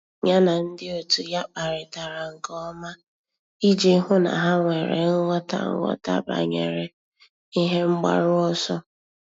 Yá na ndị otu ya kparịtara nke ọma iji hụ́ na há nwere nghọta nghọta banyere ihe mgbaru ọsọ.